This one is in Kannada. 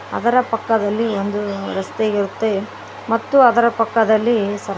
ಅದರ ಪಕ್ಕದಲ್ಲಿ ಒಂದು ರಸ್ತೆ ಇರುತ್ತೆ ಮತ್ತು ಅದರ ಪಕ್ಕದಲ್ಲಿ ಸ --